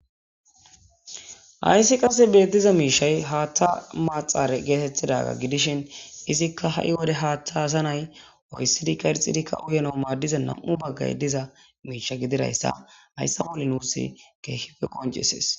Hayssi qase beettiza miishay haatta maaxare geetettidaga gidishin izikka ha'i wode haattha hasanay oyssidikka irxidikka uyano maaddiza nam'u baggay diza miisha gidirayssa hayssa qoli nuus keehife qoncisees.